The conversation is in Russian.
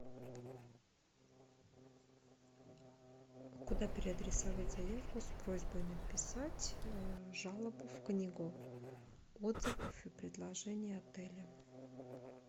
куда переадресовать заявку с просьбой написать жалобу в книгу отзывов и предложений отеля